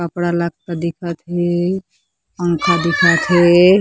कपड़ा लकता दिखत हे पंखा दिखत हे।